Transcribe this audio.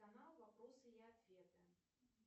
канал вопросы и ответы